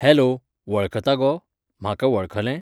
Hello, वळखता गो ?म्हाका वळखलें?